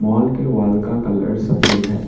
Mall के wall का colour सफेद है।